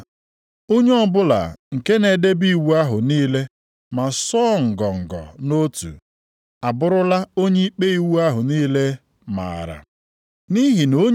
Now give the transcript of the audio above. Ma ọ bụrụ na unu ele mmadụ anya nʼihu, unu na-eme mmehie. Nʼebe iwu dịkwa, unu bụ ndị na-emebi iwu.